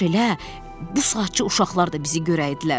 Kaş elə bu saatca uşaqlar da bizi görəydilər.